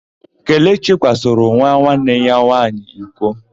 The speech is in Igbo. Kelechi kwasoro nwa nwanne ya nwaanyị iko.